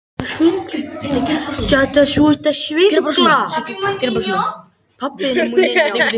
Mamma hans líka brött að leggja blessun sína yfir þetta.